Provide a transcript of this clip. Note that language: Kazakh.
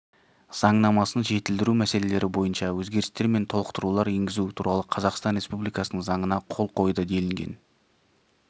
заңнамасын жетілдіру мәселелері бойынша өзгерістер мен толықтырулар енгізу туралы қазақстан республикасының заңына қол қойды делінген